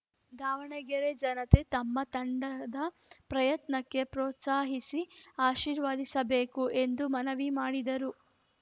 ದಾವಣಗೆರೆ ಜನತೆ ತಮ್ಮ ತಂಡದ ಪ್ರಯತ್ನಕ್ಕೆ ಪ್ರೋತ್ಸಾಹಿಸಿ ಆಶೀರ್ವದಿಸಬೇಕು ಎಂದು ಮನವಿ ಮಾಡಿದರು